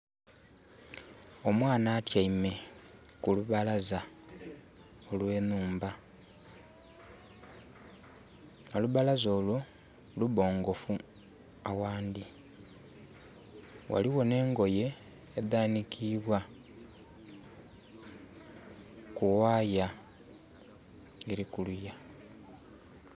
Omwana atyaime ku lubalaza olw'enhumba. Olubalaza olwo lubongofu aghandhi. Ghaligho n'engoye edhanikibwa ku wire eli kuliya.